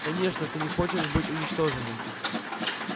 конечно ты не хочешь быть уничтоженным